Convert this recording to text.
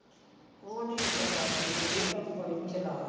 ਉਹ ਨਹੀਂ ਇੱਦਾਂ ਕਰਦੀ ਫੇਰ ਇਹ ਤਾਂ ਬੜੀ ਚਲਾਕ